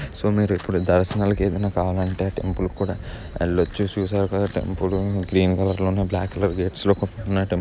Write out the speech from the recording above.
So మీరు దర్శన లకి ఏదైనా కావాలంటే టెంపుల్ కి కూడా వెళ్ళొచ్చు. చూసారుగా టెంపుల్ గ్రీన్ కలర్ లోను బ్లాక్‌కలర్ లో గేట్స్ లో వున్న టెంపుల్ --